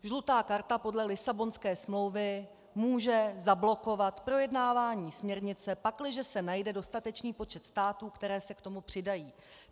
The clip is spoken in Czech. Žlutá karta podle Lisabonské smlouvy může zablokovat projednávání směrnice, pakliže se najde dostatečný počet států, které se k tomu přidají.